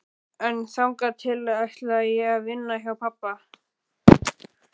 En þangað til ætla ég að vinna hjá pabba.